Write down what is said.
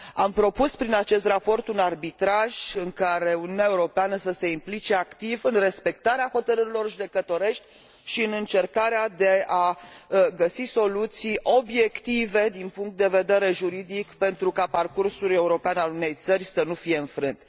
Am propus prin acest raport un arbitraj în care Uniunea Europeană să se implice activ în respectarea hotărârilor judecătorești și în încercarea de a găsi soluții obiective din punct de vedere juridic pentru ca parcursul european al unei țări să nu fie înfrânt.